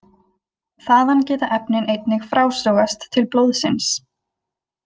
Þaðan geta efnin einnig frásogast til blóðsins.